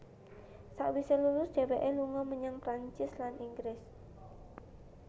Sawise lulus dheweke lunga menyang Prancis lan Inggris